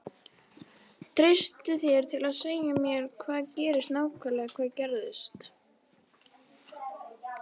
Treystirðu þér til að segja mér hvað gerðist nákvæmlega hvað gerðist?